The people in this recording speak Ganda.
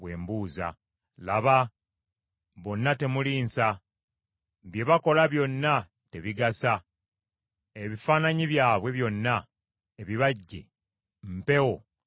Laba, bonna temuli nsa! Bye bakola byonna tebigasa. Ebifaananyi byabwe byonna ebibajje, mpewo na butaliimu.”